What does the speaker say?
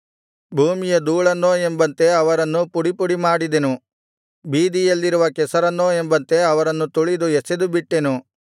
ಭೂಮಿಯ ಧೂಳನ್ನೋ ಎಂಬಂತೆ ಅವರನ್ನು ಪುಡಿಪುಡಿ ಮಾಡಿದೆನು ಬೀದಿಯಲ್ಲಿರುವ ಕೆಸರನ್ನೋ ಎಂಬಂತೆ ಅವರನ್ನು ತುಳಿದು ಎಸೆದುಬಿಟ್ಟೆನು